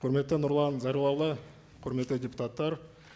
құрметті нұрлан зайроллаұлы құрметті депутаттар